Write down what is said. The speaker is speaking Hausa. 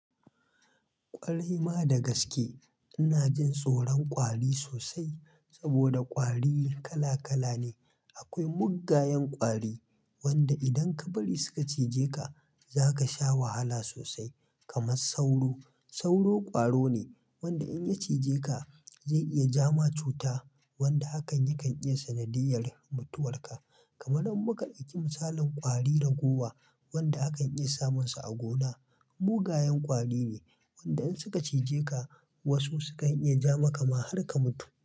Ƙwarai ma da gaske. Ina jin tsoron ƙwari sosai saboda ƙwari kala kala ne. Akwai mugayen ƙwari wanda idan ka bari suka cije ka, za ka sha wahala sosai kamar sauro. Sauro ƙwaro ne wanda in ya cije ka zai iya jama cuta wanda hakan yakan iya sanadiyyar mutuwar ka. Kamar in muka ɗauki misalin ƙwari ragowa wanda akan iya samunsa a gona. Mugayen ƙwari ne wanda in suka cije ka wasu sukan iya ja maka ma har ka mutu.